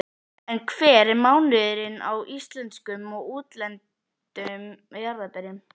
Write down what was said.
En hver er munurinn á íslenskum og útlendum jarðarberjum?